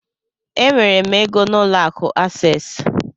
Enwere m égo n'ụlọ akụ Access.